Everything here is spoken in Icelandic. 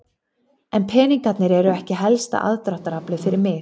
En peningarnir eru ekki helsta aðdráttaraflið fyrir mig.